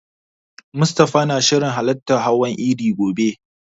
Mustafa yana shirin halartar hawan idi gobe.